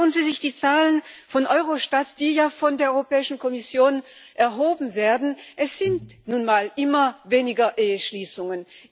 Schauen Sie sich die Zahlen von Eurostat an, die ja von der Europäischen Kommission erhoben werden Es gibt nun mal immer weniger Eheschließungen.